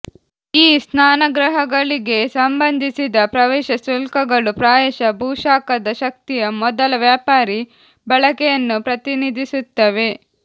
ಈ ಸ್ನಾನಗೃಹಗಳಿಗೆ ಸಂಬಂಧಿಸಿದ ಪ್ರವೇಶ ಶುಲ್ಕಗಳು ಪ್ರಾಯಶಃ ಭೂಶಾಖದ ಶಕ್ತಿಯ ಮೊದಲ ವ್ಯಾಪಾರೀ ಬಳಕೆಯನ್ನು ಪ್ರತಿನಿಧಿಸುತ್ತವೆ